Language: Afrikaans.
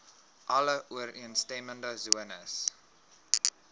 alle ooreenstemmende sones